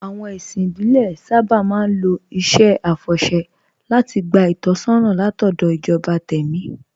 Àwọn ẹ̀sìn ìbílẹ̀ sábà máa ń lo iṣẹ́ àfọ̀ṣẹ́ láti gba ìtọ́sọ́nà látọ̀dọ̀ ìjọba tẹ̀mí